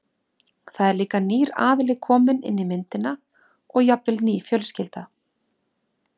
Þá er líka nýr aðili kominn inn í myndina og jafnvel ný fjölskylda.